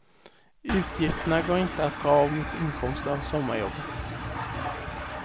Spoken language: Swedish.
Utgifterna går inte att dra av mot inkomster av sommarjobbet.